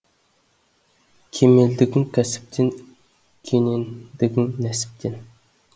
кемелдігің кәсіптен кенендігің нәсіптен